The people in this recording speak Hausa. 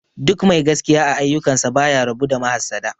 Duk mai gaskiya a aiyukan sa baya rabu da mahassada